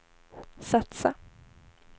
satsa